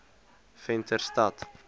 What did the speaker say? venterstad